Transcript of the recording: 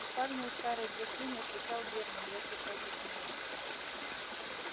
в спальне у старой графини отвечал германн я сейчас от нее